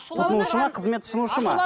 тұтынушы ма қызмет ұсынушы ма